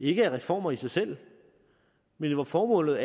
ikke er reformer i sig selv men hvor formålet